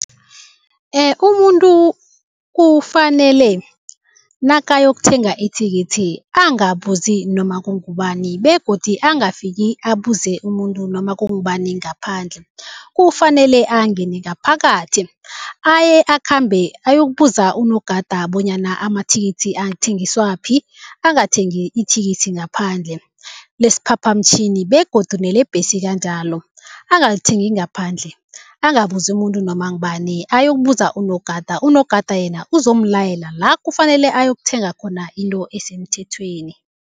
Umuntu kufanele nakayokuthenga ithikithi angabuzi noma kungubani begodi angafiki abuze umuntu noma kungubani ngaphandle. Kufanele angene ngaphakathi, aye akhambe ayokubuza unogada bonyana amathikithi athengiswaphi, angathengi ithikithi ngaphandle lesiphaphamtjhini begodu nelebhesi kanjalo. Angalithengi ngaphandle, angabuzi umuntu noma ngubani, ayokubuza unogada. Unogada yena uzomlayela la kufanele ayokuthenga khona into esemthethweni.